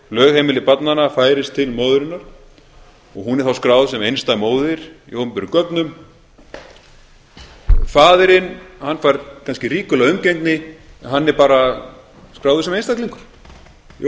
lögheimili barnanna færist til móðurinnar og hún er þá skráð sem einstæð móðir í opinberum gögnum faðirinn hann fær kannski ríkulega umgengni en hann er bara skráður sem einstaklingur í